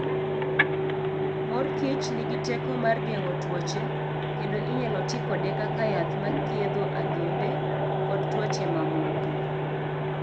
Mor kich nigi teko mar geng'o tuoche, kendo inyalo ti kode kaka yath ma thiedho adhonde, kod tuoche mamoko.